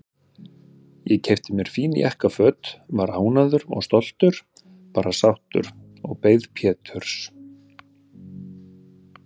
Ég keypti mér fín jakkaföt, var ánægður og stoltur, bara sáttur, og beið Péturs.